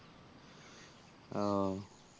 আহ